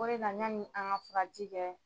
O de la ɲani an ŋa furaji kɛ